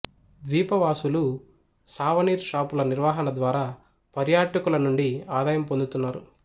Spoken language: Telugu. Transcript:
ద్వీపవాసులు సావనీర్ షాపుల నిర్వహణ ద్వారా పర్యాటకుల నుండి ఆదాయం పొందుతున్నారు